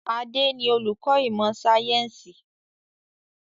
Adé ni olùkọ́ ìmọ̀ sayẹ́nsi